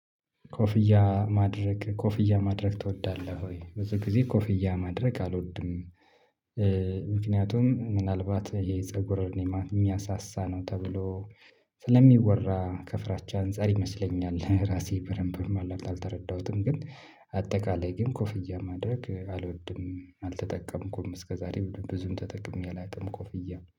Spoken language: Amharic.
ኮፍያ ማድረግ ኮፍያ ማድረግ ትወዳለህ ወይ? ብዙ ጊዜ ኮፍያ ማድረግ አልወድም። ምክንያቱም ምናልባት የፀጉር እኔ ማን የሚያሳሳ ነው ተብሎ ስለሚወራ ከፍራቻ አንፃር ይመስለኛል፤ ራሴ በደንብም አልተረዳሁትም ግን አጠቃላይ ግን ኮፍያ ማድረግ አልወድም አልተጠቀምኩም እስከዛሬ ብዙም ተጠቅሜ አላቅም ኮፍያ።